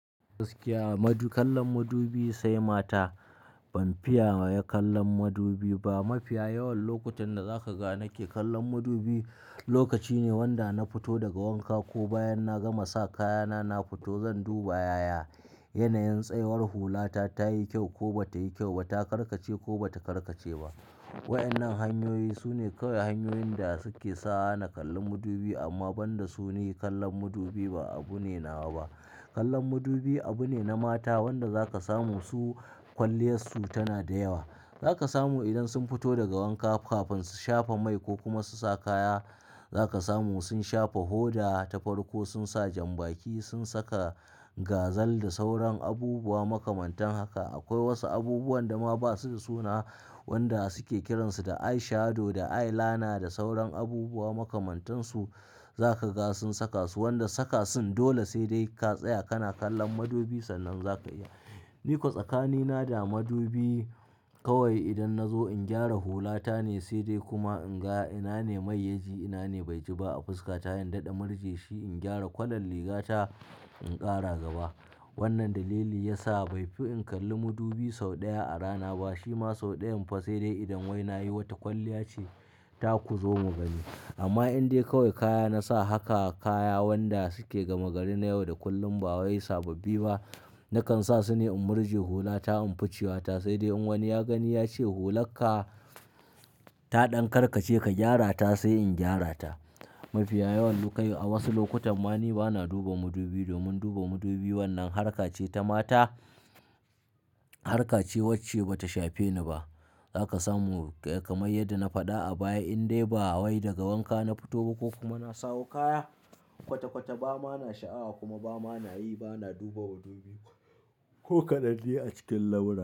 Gaskiya madub-- kallon madubi sai mata. Ban fiya wa ya kallon madubi ba. Mafi yawan lokutan da zaka ga nake kallon madubi lokaci ne wanda na fito daga wanka ko bayan na gama sa kayana na fito zan duba yayana yanayin tsayawar hulata ta yi kyau ko bata yi kyau ba, ta karkace ko bata karkace ba. Waɗannan hanyoyi sune kawai hanyoyin da suke sawa na kalli madubi amma banda su ni kallon madubi ba abu ne nawa ba. Kallon madubi abu ne na mata wanda zaka samu su kwalliyarsu tana da yawa. Zaka samu idan sun fito daga wanka kafin su shafa mai ko kuma su sa kaya. Zaka samu sun shafa hoda ta farko sun sa janbaki sun saka gazal da sauran abubuwa makamantan haka. Akwai wasu abubuwan da ma basu da suna waɗanda suke kiransu da eye shadow da eye liner da sauran abubuwa makamantansu za ka ga sun saka su wanda saka sun dole sai dai ka tsaya kana kallon madubi sannan zaka iya Ni ko tsakanina da madubi kawai idan na zo in gyara hula ta ne sai dai kuma in ga ina ne mai ya ji ina ne bai ji ba a fuska sai daɗa murje shi in gyara kwalan riga ta in ƙara gaba. Wannan dalili ya sa bai fi in kalli madubi sau ɗaya a rana ba. Shi ma sau ɗayan fa sai dai idan wai nayi wata kwalliya ce ta ku zo mu gani. Amma in dai kawai kaya na sa haka kaya waɗanda suke gama gari na yau da kullum ba wai sababbi ba, nakan sa su ne in murje hulata in ficewa ta sai dai in wani ya gani ya ce hularka ta ɗan karkace ka gyara ta sai in gyara ta. Mafi yawan loka a wasu lokutan ma ni bana duba madubi domin duba madubi wannan harkace ta mata harkace wacce bata shafe ni ba. Zaka samu kamar yadda na faɗa a baya in dai ba wai daga wanka na fito ba ko kuma na sawo kaya kwata-kwata ba ma na sha'awa kuma ba ma nayi bana duba madubi ko kadan dai a cikin lamura.